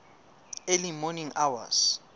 early morning hours